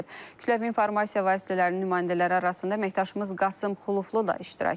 Kütləvi informasiya vasitələrinin nümayəndələri arasında əməkdaşımız Qasım Xuluflu da iştirak edir.